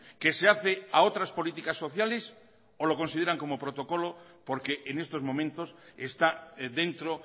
que se hace a otras políticas sociales o lo consideran como protocolo porque en estos momentos está dentro